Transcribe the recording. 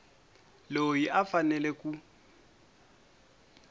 loyi a a fanele ku